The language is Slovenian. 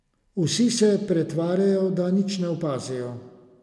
Vsi se pretvarjajo, da nič ne opazijo.